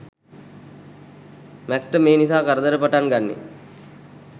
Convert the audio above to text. Max ට මේ නිසා කරදර පටන් ගන්නේ